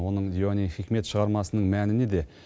оның диуани хикмет шығармасының мәні неде